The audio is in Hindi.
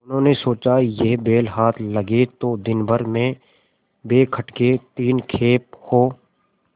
उन्होंने सोचा यह बैल हाथ लगे तो दिनभर में बेखटके तीन खेप हों